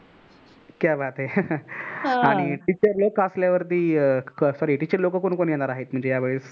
क्या बात है. आणि teacher लोक असल्यावरती sorry teacher लोक कोण कोण येणार आहेत म्हणजे यावेळेस.